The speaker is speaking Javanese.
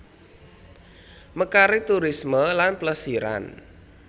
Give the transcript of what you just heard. Mekaring turisme lan plesiran